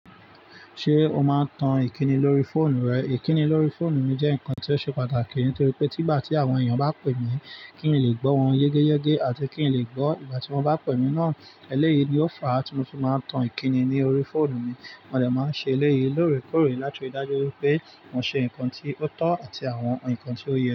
Ṣé o máa ń tan ìkíni lórí fóònù rẹ? Ìkíni lórí fóònù mi jẹ́ nǹkan tí ó ṣe pàtàkì nítorí pé tí bá tí àwọn èèyàn bá pè mí kí n lè gbọ́ wọn yegẹ́yegẹ́ àti kí n lè gbọ́ ìgbà tí wọ́n bá pè mí náà. Eléyìí ni ó fa á tí mo fi máa ń tan ìkíni ní orí fóònù mi. Mo de máa ń ṣe eléyìí lóòrèkóòrè láti ri dájú wipé mo ṣe nǹkan ti o tọ́ àti àwọn nǹkan tí ó yẹ.